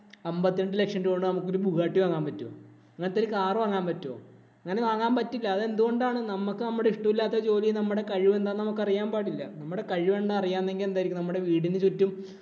അമ്പത്തി അഞ്ചു ലക്ഷം രൂപ കൊണ്ട് നമുക്കൊരു ബുഗാട്ടി വാങ്ങാന്‍ പറ്റോ. അങ്ങനത്തെ ഒരു car വാങ്ങാന്‍ പറ്റുവോ? അങ്ങനെ വാങ്ങാന്‍ പറ്റില്ല. അത് എന്തു കൊണ്ടാണ്? നമ്മക്ക് നമ്മടെ ഇഷ്ടമില്ലാത്ത ജോലി നമ്മടെ കഴിവ് എന്താന്ന് നമുക്ക് അറിയാന്‍ പാടില്ല. നമ്മടെ കഴിവ് എന്താന്നു അറിയാമെങ്കില്‍ എന്തായിരിക്കും, നമ്മുടെ വീടിനു ചുറ്റും